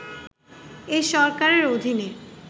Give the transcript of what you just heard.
এ সরকারের অধীনে